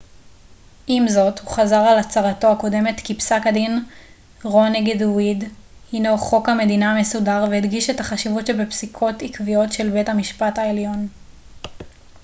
עם זאת הוא חזר על הצהרתו הקודמת כי פסק הדין רו נגד ווייד הנו חוק המדינה המסודר והדגיש את החשיבות שבפסיקות עקביות של בית המשפט העליון